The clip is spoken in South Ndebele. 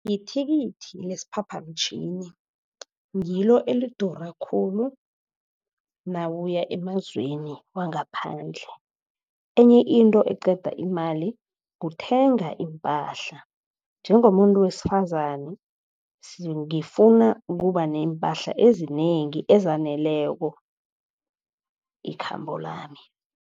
Lithikithi lesiphaphamtjhini ngilo, elidura khulu nawuya emazweni wangaphandle. Enye into eqeda imali kuthenga iimpahla, njengomuntu wesifazane ngifuna ukuba neempahla ezinengi ezaneleko, ikhambo lami.